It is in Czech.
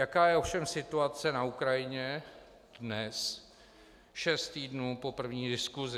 Jaká je ovšem situace na Ukrajině dnes, šest týdnů po první diskusi?